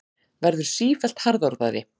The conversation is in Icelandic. Verður sífellt harðorðari.